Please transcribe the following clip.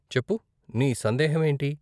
చెప్పు, నీ సందేహం ఏంటి?